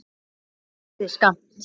Það dugði skammt.